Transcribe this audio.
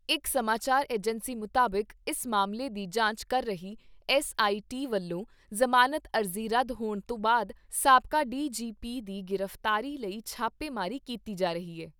ਇਕ ਸਮਾਚਾਰ ਏਜੰਸੀ ਮੁਤਾਬਿਕ ਇਸ ਮਾਮਲੇ ਦੀ ਜਾਂਚ ਕਰ ਰਹੀ ਐੱਸਆਈਟੀ ਵੱਲੋਂ ਜ਼ਮਾਨਤ ਅਰਜ਼ੀ ਰੱਦ ਹੋਣ ਤੋਂ ਬਾਅਦ ਸਾਬਕਾ ਡੀਜੀਪੀ ਦੀ ਗ੍ਰਿਫਤਾਰੀ ਲਈ ਛਾਪੇਮਾਰੀ ਕੀਤੀ ਜਾ ਰਹੀ ਏ।